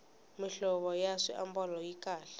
mihlovo ya swiambalo yi kahle